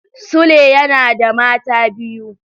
Sule yana da mata biyu.